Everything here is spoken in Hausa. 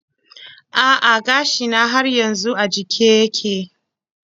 A'a gashina har yanzu a jike yake.